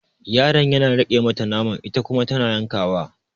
Yaron yana riƙe mata naman ita kuma tana yankawa.